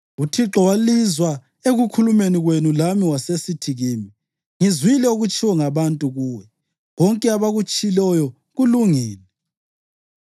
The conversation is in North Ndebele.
UThixo walizwa ekukhulumeni kwenu lami wasesithi kimi, ‘Ngizwile okutshiwo ngabantu kuwe. Konke abakutshiloyo kulungile.